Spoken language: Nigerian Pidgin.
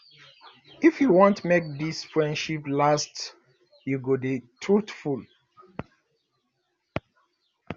if you want make dis friendship last you go dey truthful